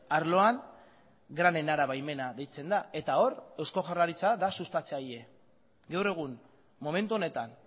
arloan gran enara baimena deitzen da eta hor eusko jaurlaritza da sustatzaile gaur egun momentu honetan